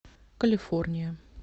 калифорния